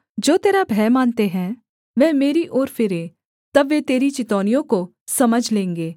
जो तेरा भय मानते हैं वह मेरी ओर फिरें तब वे तेरी चितौनियों को समझ लेंगे